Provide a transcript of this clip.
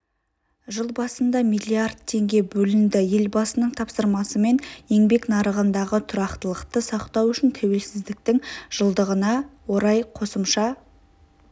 жыл басында млрд теңге бөлінді елбасының тапсырмасымен еңбек нарығындағы тұрақтылықты сақтау үшін тәуелсіздіктің жылдығына орай қосымша